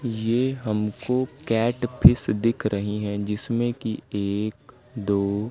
ये हमको catfish दिख रही है जिसमें की एक दो--